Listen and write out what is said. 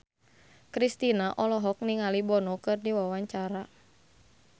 Kristina olohok ningali Bono keur diwawancara